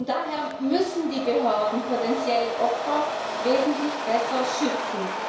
Daher müssen die Behörden potenzielle Opfer wesentlich besser schützen.